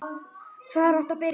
Hvar áttu að byrja?